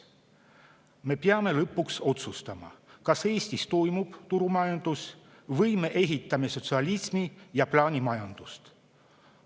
Me peame lõpuks otsustama, kas Eestis toimub turumajandus või me ehitame sotsialismi ja plaanimajandust.